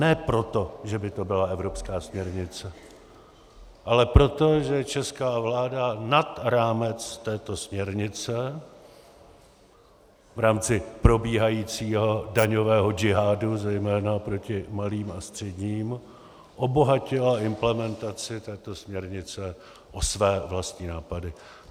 Ne proto, že by to byla evropská směrnice, ale proto, že česká vláda nad rámec této směrnice, v rámci probíhajícího daňového džihádu zejména proti malým a středním, obohatila implementaci této směrnice o své vlastní nápady.